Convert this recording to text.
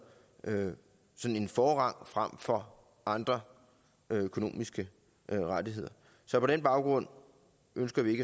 sådan en forrang frem for andre økonomiske rettigheder så på den baggrund ønsker vi